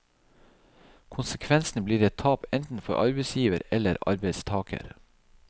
Konsekvensen blir et tap enten for arbeidsgiver eller arbeidstager.